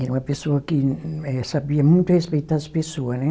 Era uma pessoa que eh, sabia muito respeitar as pessoas, né?